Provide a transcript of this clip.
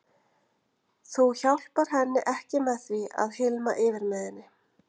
Þú hjálpar henni ekki með því að hylma yfir með henni.